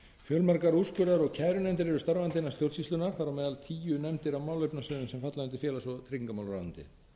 fjölmargar úrskurðar og kærunefndir eru starfandi innan stjórnsýslunnar þar á meðal tíu nefndir á málefnasviðum sem falla undir félags og tryggingamálaráðuneytið